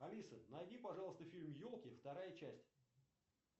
алиса найди пожалуйста фильм елки вторая часть